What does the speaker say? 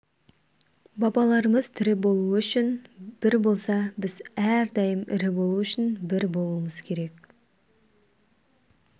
бабаларымыз тірі болу үшін бір болса біз әрдайым ірі болу үшін бір болуымыз керек